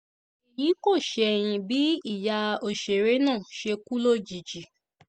èyí kò ṣẹ̀yìn bí ìyá òṣèré náà ṣe kú lójijì